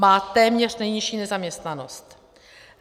Má téměř nejnižší nezaměstnanost.